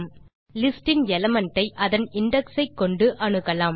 நாம் ஒரு லிஸ்ட் இன் எலிமெண்ட் ஐ அதன் இண்டெக்ஸ் ஐ கொண்டு அணுகலாம்